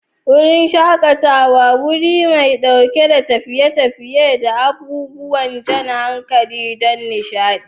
Wurin shakatawa: Wuri mai ɗauke da tafiye-tafiye da abubuwan jan hankali don nishaɗi.